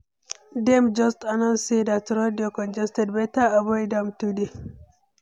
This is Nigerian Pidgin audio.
Dem just announce say that road dey congested, better avoid am today.